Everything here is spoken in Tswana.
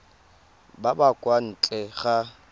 ba ba kwa ntle ga